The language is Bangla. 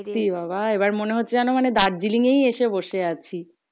সত্যি বাবা আবার মনে হচ্ছে মানে দার্জিলিং এই আসে বসে আছি